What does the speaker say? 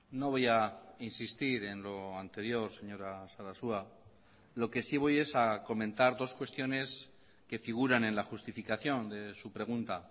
no voy a insistir en lo anterior señora sarasua lo que si voy es a comentar dos cuestiones que figuran en la justificación de su pregunta